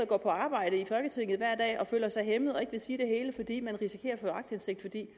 går på arbejde i folketinget og føler sig hæmmet og ikke vil sige det hele fordi man risikerer aktindsigt for det